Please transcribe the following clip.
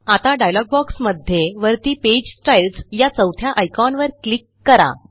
आता डायलॉग बॉक्समध्ये वरती पेज स्टाईल्स या चौथ्या आयकॉनवर क्लिक करा